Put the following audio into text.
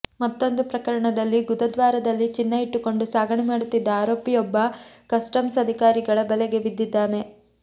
ಮತ್ತೊಂದು ಪ್ರಕರಣದಲ್ಲಿ ಗುದದ್ವಾರದಲ್ಲಿ ಚಿನ್ನ ಇಟ್ಟುಕೊಂಡು ಸಾಗಣೆ ಮಾಡುತ್ತಿದ್ದ ಆರೋಪಿಯೊಬ್ಬ ಕಸ್ಟಮ್ಸ್ ಅಧಿಕಾರಿಗಳ ಬಲೆಗೆ ಬಿದಿದ್ದಾನೆ